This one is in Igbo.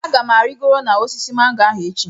Aga m arịgoro n'osisi mango ahụ echi.